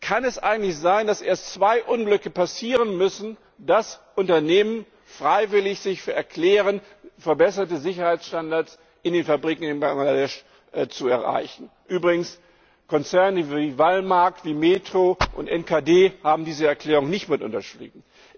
Kann es eigentlich sein, dass erst zwei Unglücke passieren müssen, damit Unternehmen sich freiwillig bereiterklären, verbesserte Sicherheitsstandards in den Fabriken in Bangladesch zu erreichen? Übrigens, Konzerne wie Walmart, Metro und NKD haben diese Erklärung nicht mit unterschrieben.